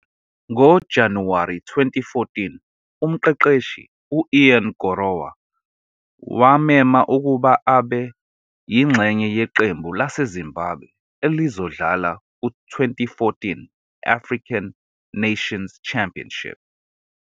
NgoJanuwari 2014, umqeqeshi u-Ian Gorowa, wammema ukuba abe yingxenye yeqembu laseZimbabwe elizodlala ku- 2014 African Nations Championship.